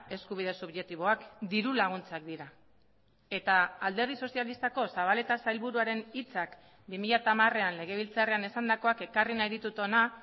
eskubide subjektiboak dirulaguntzak dira eta alderdi sozialistako zabaleta sailburuaren hitzak bi mila hamarean legebiltzarrean esandakoak ekarri nahi ditut hona